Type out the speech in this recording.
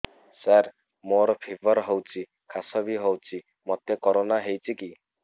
ସାର ମୋର ଫିବର ହଉଚି ଖାସ ବି ହଉଚି ମୋତେ କରୋନା ହେଇଚି କି